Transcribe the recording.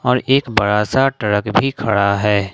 और एक बड़ा सा ट्रक भी खड़ा है।